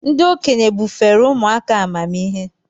Ndị okenye bufere ụmụ aka amamihe.